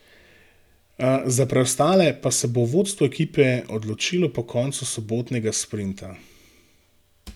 Za preostale pa se bo vodstvo ekipe odločilo po koncu sobotnega sprinta.